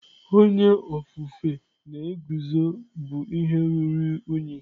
Onye ofufe na-eguzo bụ ihe ruru unyi.